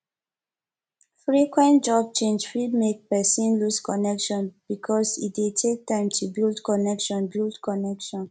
frequent job change fit make person lose connection because e dey take time to build connection build connection